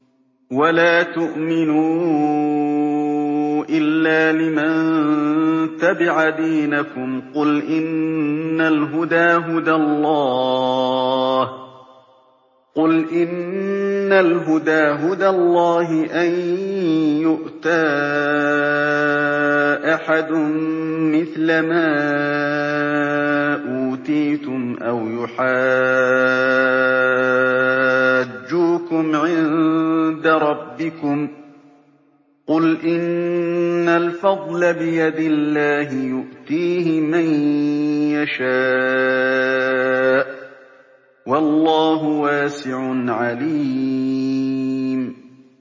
وَلَا تُؤْمِنُوا إِلَّا لِمَن تَبِعَ دِينَكُمْ قُلْ إِنَّ الْهُدَىٰ هُدَى اللَّهِ أَن يُؤْتَىٰ أَحَدٌ مِّثْلَ مَا أُوتِيتُمْ أَوْ يُحَاجُّوكُمْ عِندَ رَبِّكُمْ ۗ قُلْ إِنَّ الْفَضْلَ بِيَدِ اللَّهِ يُؤْتِيهِ مَن يَشَاءُ ۗ وَاللَّهُ وَاسِعٌ عَلِيمٌ